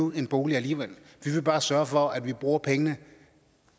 en bolig alligevel vi vil bare sørge for at man bruger pengene